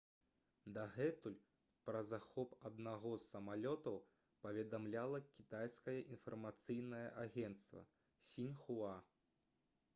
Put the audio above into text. дагэтуль пра захоп аднаго з самалётаў паведамляла кітайскае інфармацыйнае агенцтва «сіньхуа»